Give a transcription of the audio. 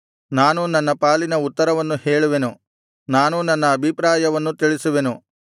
ನಾನೂ ನನ್ನ ಪಾಲಿನ ಉತ್ತರವನ್ನು ಹೇಳುವೆನು ನಾನೂ ನನ್ನ ಅಭಿಪ್ರಾಯವನ್ನು ತಿಳಿಸುವೆನು